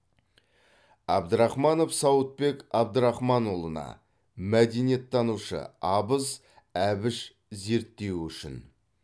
абдрахманов сауытбек абдрахманұлына мәдениеттанушы абыз әбіш зерттеуі үшін